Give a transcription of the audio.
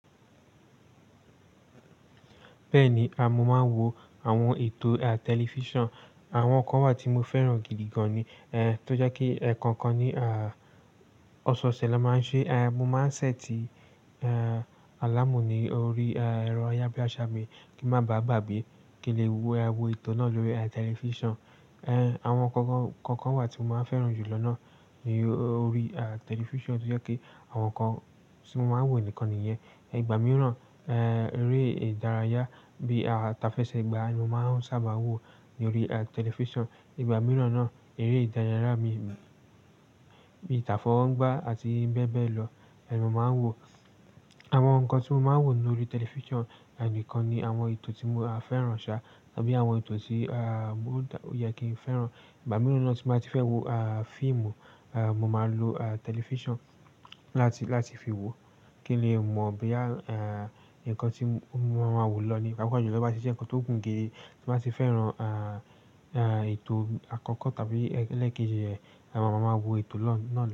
Bẹ́ẹ̀ni, mo máa ń wo àwọn ètò à tẹlifíṣàn. Àwọn kan wà tí mo fẹ́ràn gidi gan ni. Tó jẹ́ kí ẹ̀ẹ̀kọọan kan ní à ọ̀ṣọ̀ṣẹ̀ ló máa ń ṣe, mo máa ń ṣẹ́ẹ̀tì alámù ní orí ẹ̀rọ ayábíàṣá mi kí ń má báà gbàgbé kí n le wo ètò náà lórí tẹlifíṣàn. Ẹ̀ẹ̀, àwọn nkan kọọkan wà tí mo máa ń fẹ́ràn jù lọ́nà ní orí tẹlifíṣàn tó jẹ́ kí àwọn kan tí mo máa ń wò nìkan nìyẹn. Ìgbà mìíràn, eré ìdárayá bí à tafẹ́ṣẹ́ gba ni mo máa ń sábà wò lórí tẹlifíṣàn. Ìgbà mìíràn náà, eré ìdárayá bí t'afọwọgba ń gbá àti bẹ́ẹ̀ bẹ́ẹ̀ lọ ni mo máa ń wò. Àwọn nǹkan tí mo máa ń wò lórí tẹlifíṣàn nìkan ni àwọn ètò tí mo á fẹ́ràn ṣá tàbí àwọn ètò tí à ó yẹ kí n fẹ́ràn. Ìgbà mìíràn tí màá ti fẹ́ wo à fíìmù, mo máa lò à tẹlifíṣàn láti, láti fi wò kí ni lè mọ̀ bí à nǹkan tí mo máa wò lọ nípa pé tí ó bá sì jẹ́ nǹkan tó gùn gé tí màá ti fẹ́ran à, à ètò àkọ́kọ́ tàbí ẹlẹ́ẹ̀keji rẹ̀, à mo máa wò ètò lọ́nà.